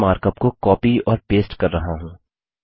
मैं मार्कअप को कॉपी और पेस्ट कर रहा हूँ